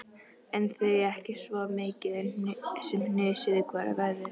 En þau ekki svo mikið sem hnusuðu hvort af öðru.